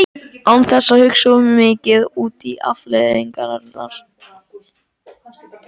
Án þess að hugsa of mikið út í afleiðingarnar.